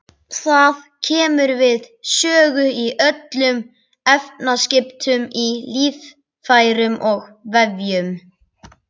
Það kemur við sögu í öllum efnaskiptum í líffærum og vefjum.